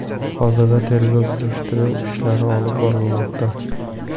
Hozirda tergov surishtiruv ishlari olib borilmoqda.